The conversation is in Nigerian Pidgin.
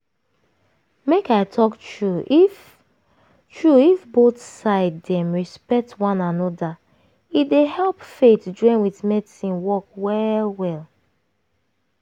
make i talk true if true if both side dem respect one anoda e dey help faith--join with medicine work well well.